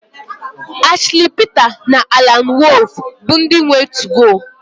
Ashli Pita na Alan Wolf bụ ndị nwe 2go